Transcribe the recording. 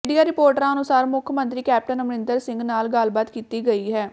media ਰਿਪੋਰਟਾਂ ਅਨੁਸਾਰ ਮੁੱਖ ਮੰਤਰੀ ਕੈਪਟਨ ਅਮਰਿੰਦਰ ਸਿੰਘ ਨਾਲ ਗੱਲਬਾਤ ਕੀਤੀ ਗਈ ਹੈ